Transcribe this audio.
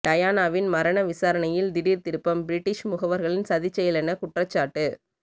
டயானாவின் மரண விசாரணையில் திடீர் திருப்பம் பிரிட்டிஷ் முகவர்களின் சதிச்செயலென குற்றச்சாட்டு